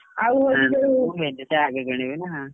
ମୁଁ ଭେଣ୍ଡିଟା ଆଗେ କିଣିବି ନା!